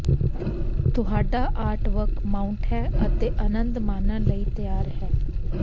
ਤੁਹਾਡਾ artwork mount ਹੈ ਅਤੇ ਆਨੰਦ ਮਾਣਨ ਲਈ ਤਿਆਰ ਹੈ